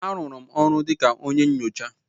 A rụrụ m ọrụ dịka onye nyocha.